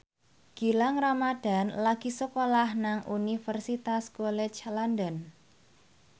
Gilang Ramadan lagi sekolah nang Universitas College London